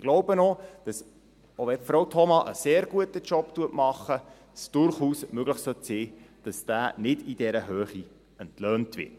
Ich glaube auch, dass selbst wenn Frau Thoma einen sehr guten Job macht, es durchaus möglich sein sollte, dass dieser nicht in dieser Höhe entlöhnt wird.